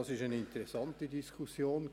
Es war eine interessante Diskussion.